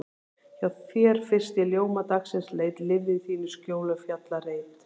Hjá þér fyrst ég ljóma dagsins leit, lifði í þínu skjóli og fjallareit.